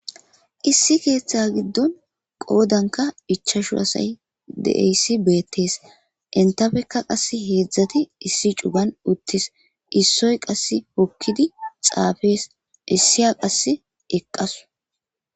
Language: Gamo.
Issi keeththa giddon qoodanka ichashu asay deeyssi beettees entafekka qass heedzdzati issi cugan uttis issoy qass hokkidi xaafees issiya qasse eqqasu.